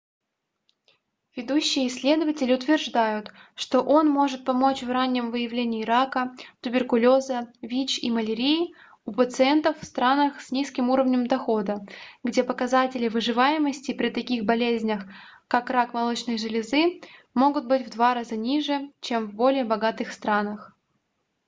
ведущие исследователи утверждают что он может помочь в раннем выявлении рака туберкулеза вич и малярии у пациентов в странах с низким уровнем дохода где показатели выживаемости при таких болезнях как рак молочной железы могут быть в два раза ниже чем в более богатых странах